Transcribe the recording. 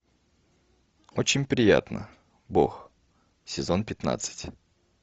очень приятно бог сезон пятнадцать